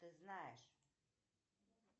ты знаешь